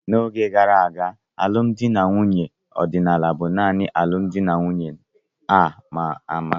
N'oge gara aga, alụmdi na nwunye ọdịnala bụ nanị alụmdi na nwunye a ma ama.